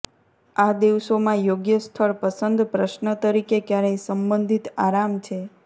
આ દિવસોમાં યોગ્ય સ્થળ પસંદ પ્રશ્ન તરીકે ક્યારેય સંબંધિત આરામ છે